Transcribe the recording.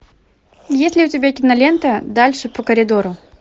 есть ли у тебя кинолента дальше по коридору